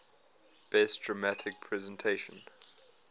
best dramatic presentation